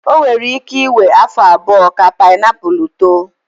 O nwere ike iwe afọ abụọ ka painiapulu too.